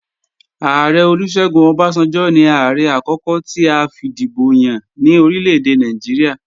Ààrẹ Olúṣẹ́gun Ọbásanjọ́ ní Ààrẹ àkókò ti a fìdìbò yàn ní orílèdè Nàìjíríà